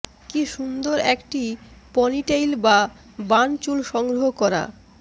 কী সুন্দর একটি ponytail বা বান চুল সংগ্রহ করা